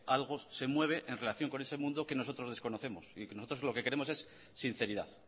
algo se mueve en relación con ese mundo que nosotros desconocemos y lo que queremos es sinceridad